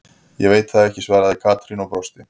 Ég veit það ekki svaraði Katrín og brosti.